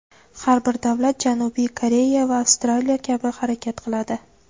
Har bir davlat Janubiy Koreya va Avstraliya kabi harakat qiladi.